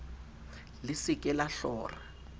le se ke la hlora